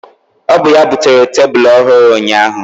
Ọ bụ ya butere tebụl ọhụrụ ụnyaahụ.